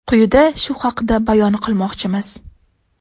Quyida shu haqda bayon qilmoqchimiz.